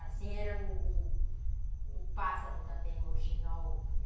Assim era o o pássaro também, o rouxinol.